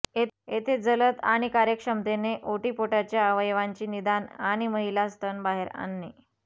येथे जलद आणि कार्यक्षमतेने ओटीपोटाचा अवयवांची निदान आणि महिला स्तन बाहेर आणणे